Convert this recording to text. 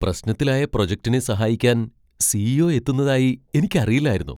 പ്രശ്നത്തിലായ പ്രൊജക്റ്റിനെ സഹായിക്കാൻ C. E. O. എത്തുന്നതായി എനിക്കറിയില്ലായിരുന്നു.